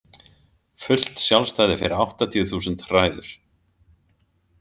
Fullt sjálfstæði fyrir áttatíu þúsund hræður?